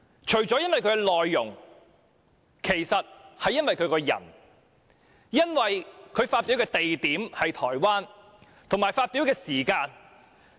除了因為他發表的內容，其實是因為他這個人，以及他發表的地點是在台灣，還有發表的時間。